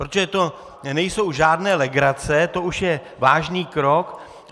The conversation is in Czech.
Protože to nejsou žádné legrace, to už je vážný krok.